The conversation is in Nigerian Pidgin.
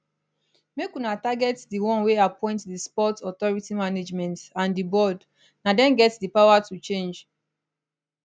make una target di one wey appoint di sports authority management and di board na dem get di power to change